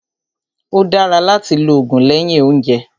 Ó dára láti lògùn lẹ́yìn óúnjẹ